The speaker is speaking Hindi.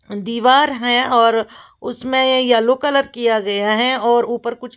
दीवार है और उसमें येलो कलर किया गया है और ऊपर कुछ --